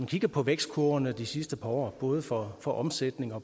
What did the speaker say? kigger på vækstkurverne de sidste par år både for for omsætning og